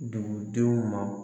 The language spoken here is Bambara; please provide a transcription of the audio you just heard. Dugudenw ma